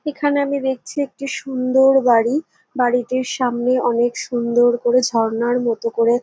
এখানে আমি দেখছি একটি সুন্দর বাড়ি বাড়িটির সামনে অনেক সুন্দর করে ঝর্ণার মত করে--